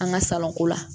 An ka salɔn ko la